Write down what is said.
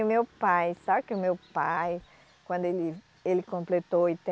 E meu pai, só que o meu pai, quando ele, ele completou